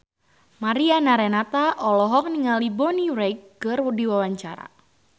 Mariana Renata olohok ningali Bonnie Wright keur diwawancara